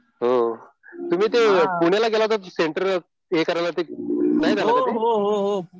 हो. तुम्ही ते पुण्याला गेला होता सेंटर हे करायला नाही झालं का ते?